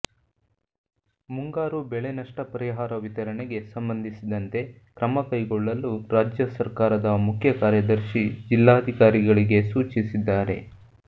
ಮುಂಗಾರು ಬೆಳೆ ನಷ್ಟ ಪರಿಹಾರ ವಿತರಣೆಗೆ ಸಂಬಂಧಿಸಿದಂತೆ ಕ್ರಮ ಕೈಗೊಳ್ಳಲು ರಾಜ್ಯ ಸರ್ಕಾರದ ಮುಖ್ಯ ಕಾರ್ಯದರ್ಶಿ ಜಿಲ್ಲಾಧಿಕಾರಿಗಳಿಗೆ ಸೂಚಿಸಿದ್ದಾರೆ